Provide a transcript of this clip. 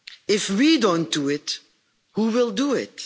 If we don't do it, who will do it?